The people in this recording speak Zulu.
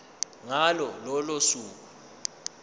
ngalo lolo suku